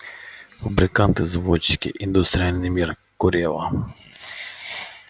фабриканты заводчики индустриальный мир корела